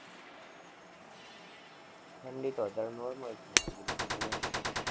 ઠંડી તો અત્યારે normal છે, એટલી બધી ઠંડી નથી કાઈ